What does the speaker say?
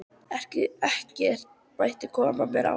Ekkert mátti koma mér á óvart.